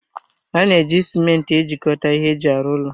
A na-eji cimenti ejikọta ihe eji arụ ụlọ